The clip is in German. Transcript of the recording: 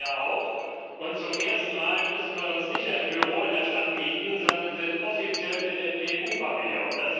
Sie kommen ja auch, und zum ersten Mal müssen wir uns nicht ein Büro in der Stadt mieten, sondern sind offiziell im EU Pavillon.